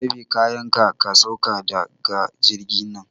Ɗebi kayanka, ka sauka da ga jirgi na!